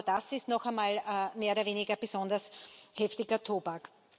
Aber das ist noch einmal mehr oder weniger besonders heftiger Tobak.